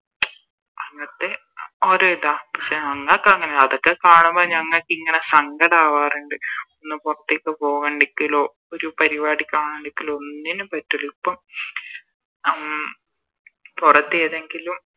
അങ്ങത്തെ ഓരോ ഇതാ പക്ഷെ ഞങ്ങക്ക് അങ്ങനെ അതൊക്കെ കാണുമ്പോ ഞങ്ങക്കിങ്ങനെ സങ്കടവാറിണ്ട് ഒന്ന് പൊറത്തേക്ക് പോവണ്ടേക്കില്ലൊ ഒരു പരിവാടി കാണണ്ടെക്കിലോ ഒന്നിനും പറ്റൂല ഇപ്പൊ ഉം പൊറത്ത് ഏതെങ്കിലും